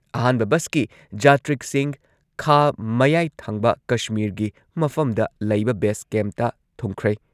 ꯑꯍꯥꯟꯕ ꯕꯁꯀꯤ ꯖꯥꯇ꯭ꯔꯤꯛꯁꯤꯡ ꯈꯥ ꯃꯌꯥꯏ ꯊꯪꯕ ꯀꯁꯃꯤꯔꯒꯤ ꯃꯐꯝꯗ ꯂꯩꯕ ꯕꯦꯁ ꯀꯦꯝꯞꯇ ꯊꯨꯡꯈ꯭ꯔꯦ ꯫